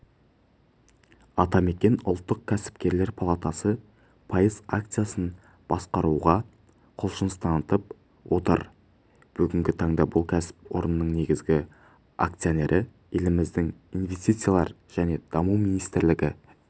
атамекен ұлттық кәсіпкерлер палатасы пайыз акциясын басқаруға құлшыныс танытып отыр бүгінгі таңда бұл кәсіпорынның негізгі акционері еліміздің инвестициялар және даму министрлігі